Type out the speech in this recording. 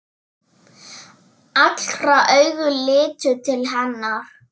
Allra augu litu til hennar.